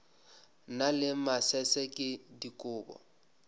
na le masese ke dikobo